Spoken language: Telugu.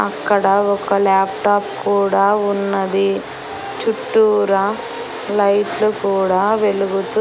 అక్కడ ఒక లాప్టాప్ కూడా ఉన్నది చుట్టూరా లైట్ లు కూడా వెలుగుతూ --